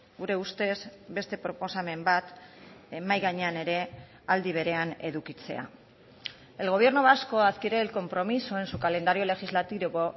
gure ustez beste proposamen bat mahai gainean ere aldi berean edukitzea el gobierno vasco adquiere el compromiso en su calendario legislativo